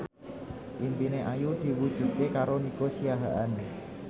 impine Ayu diwujudke karo Nico Siahaan